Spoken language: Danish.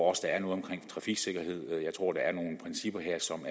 også er noget omkring trafiksikkerhed jeg tror der er nogle principper her som